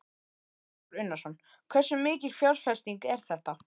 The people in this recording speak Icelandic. Kristján Már Unnarsson: Hversu mikil fjárfesting er þetta?